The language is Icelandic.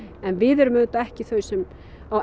en við erum auðvitað ekki þau sem á